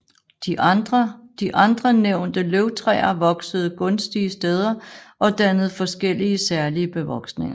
De andre nævnte løvtræer voksede gunstige steder og dannede forskellige særlige bevoksninger